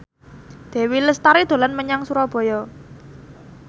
Dewi Lestari dolan menyang Surabaya